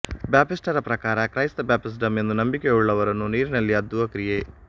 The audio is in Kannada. ಬ್ಯಾಪ್ಟಿಸ್ಟರ ಪ್ರಕಾರ ಕ್ರೈಸ್ತ ಬ್ಯಾಪ್ಟಿಸಮ್ ಎಂಬುದು ನಂಬಿಕೆಯುಳ್ಳವರನ್ನು ನೀರಿನಲ್ಲಿ ಅದ್ದುವ ಕ್ರಿಯೆ